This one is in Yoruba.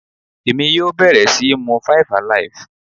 Èmi yóò bẹ̀rẹ̀ síí mu five alive.